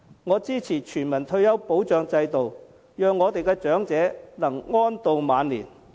我支持全民退休保障制度，讓我們的長者能安度晚年。